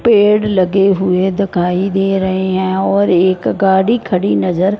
पेड़ लगे हुए दिखाई दे रहे हैं और एक गाड़ी खड़ी नजर--